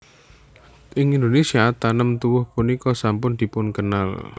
Ing Indonésia tanem tuwuh punika sampun dipunkenal